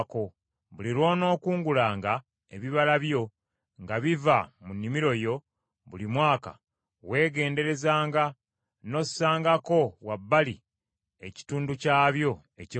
Buli lw’onookungulanga ebibala byo nga biva mu nnimiro yo buli mwaka, weegenderezanga n’ossangako wabbali ekitundu kyabyo eky’ekkumi.